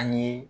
Ani